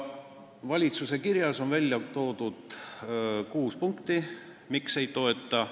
Valitsuse kirjas on ära toodud kuus punkti, miks seda seaduseelnõu ei toetata.